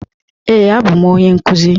Ee, abụ m onye nkuzi.